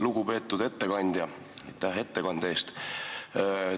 Lugupeetud ettekandja, aitäh ettekande eest!